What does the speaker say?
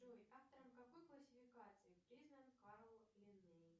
джой автором какой классификации признан карл линней